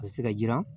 A bɛ se ka jiran